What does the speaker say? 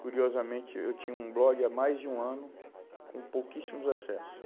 Curiosamente, eu tinha um blog há mais de um ano com pouquíssimos acesso.